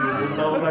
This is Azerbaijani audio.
Burda qaldıq.